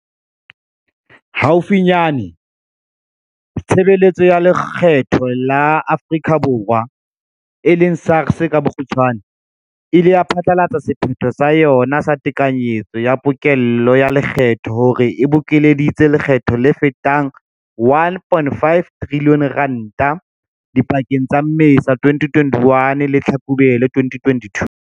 Haufinyane, Tshebe letso ya Lekgetho la Afrika Borwa, SARS e ile ya phatlalatsa sephetho sa yona sa tekanyo ya pokello ya lekgetho hore e bokeleditse lekgetho le fetang R1.5 trilione dipakeng tsa Mmesa 2021 le Tlhakubele 2022.